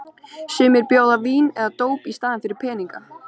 Sumir bjóða vín eða dóp í staðinn fyrir peninga.